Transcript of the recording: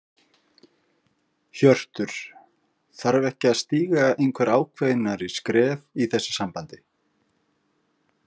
Hjörtur: Þarf ekki að stíga einhver ákveðnari skref í þessu sambandi?